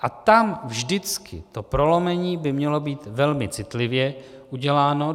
A tam vždycky to prolomení by mělo být velmi citlivě uděláno.